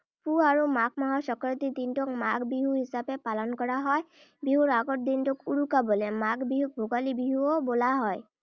পুহ আৰু মাঘ মাহৰ সংক্ৰান্তিৰ দিনটোক মাঘ বিহু হিচাপে পালন কৰা হয়। বিহুৰ আগৰ দিনটোক উৰুকা বোলে। মাঘ বিহুক ভোগালী বিহুও বোলা হয়।